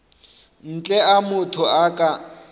ntle a motho a ka